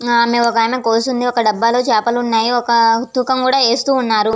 ఆ ఆమె ఒక ఆమె కోసి ఉంది. ఒక డబ్బాలో చేపలు ఉన్నాయి. ఒక తూకం కూడా వేస్తూ ఉన్నారు.